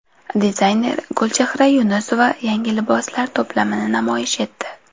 Dizayner Gulchehra Yunusova yangi liboslar to′plamini namoyish etdi .